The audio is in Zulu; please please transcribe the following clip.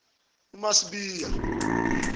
umasibiya